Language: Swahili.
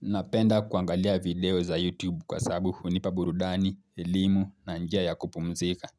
Napenda kuangalia video za YouTube kwa sababu hunipa burudani, elimu na njia ya kupumzika.